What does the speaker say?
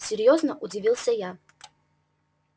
серьёзно удивился я